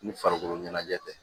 Ni farikolo ɲɛnajɛ tɛ